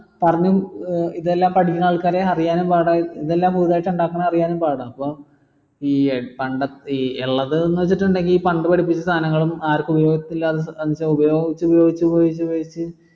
ഇതെല്ലാം പഠിക്കണ ആൾക്കാരെ അറിയാനും പാട ഇതെല്ലാം പുതുതായിട്ട് ഉണ്ടാക്കണ അറിയാനും പാടാം അപ്പം ഈ ഇള്ളത് വെച്ചിട്ടിണ്ടേൽ ഈ പണ്ട് പഠിപ്പിച്ച സാധനങ്ങൾ ആർക്കും ഉപയോഗിച്ച് ഉപയോഗിച്ച് ഉപയോഗിച്ച് ഉപയോഗിച്ച്